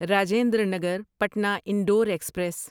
Rajendra Nagar Patna Indore express